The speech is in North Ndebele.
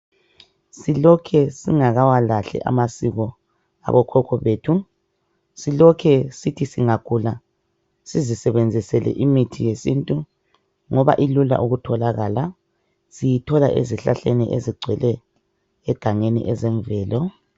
Silokhe singakawalahli amasiko abokhokho bethu. Silokhe sithi singagula sizisebenzisele imithi yesintu ngoba ilula ukutholakala. Siyithola ezihlahleni ezigcwele egangeni ezemvelo.